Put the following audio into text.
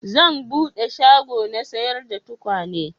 Zan bude shago na sayar da tukwane